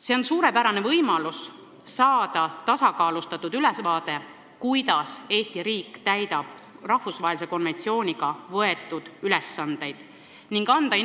See on suurepärane võimalus saada tasakaalustatud ülevaade, kuidas Eesti riik täidab rahvusvahelise konventsiooniga võetud ülesandeid, ning anda